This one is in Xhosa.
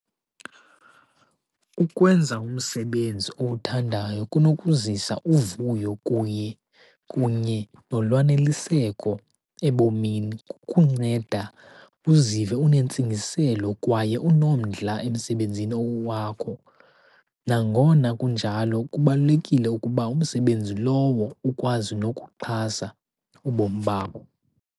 Ukwenza umsebenzi owuthandayo kunokuzisa uvuyo kuye, kunye nolwaneliseko ebomini, kukunceda uzive unentsingiselo kwaye unomdla emsebenzini wakho. Nangona kunjalo, kubalulekile ukuba umsebenzi lowo ukwazi nokuxhasa ubomi babo.